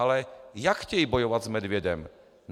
Ale jak chtějí bojovat s medvědem?